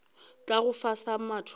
tla go fa sa mathomo